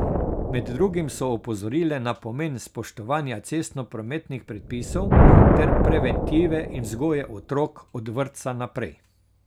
Med drugim so opozorile na pomen spoštovanja cestno prometnih predpisov ter preventive in vzgoje otrok od vrtca naprej.